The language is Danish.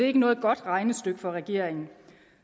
ikke noget godt regnestykke fra regeringen